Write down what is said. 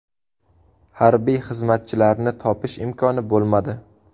Harbiy xizmatchilarni topish imkoni bo‘lmadi.